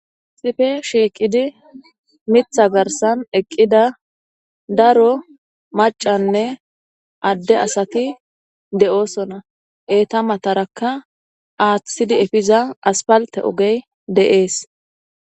sife shiiqidi mitha garsan eqqida daro macanne adde asati de7oosona eeta matarakka aaththidi efiza aspalte ogey de7ees